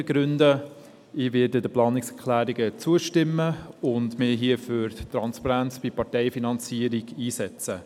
Ich werde den Planungserklärungen zustimmen und mich hier für die Transparenz bei der Parteienfinanzierung einsetzen.